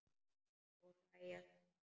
Og hlæja saman.